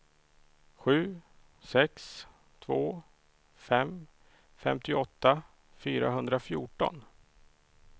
sju sex två fem femtioåtta fyrahundrafjorton